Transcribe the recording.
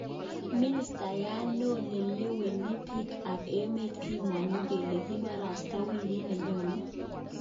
Ministayat neo neleweni bik kap emet kimon'gu kele kiporosto wikit nenyone.